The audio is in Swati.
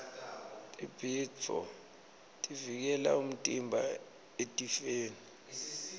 tibhidvo tivikela umtimba etifeni